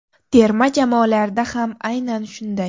Terma jamoalarda ham aynan shunday.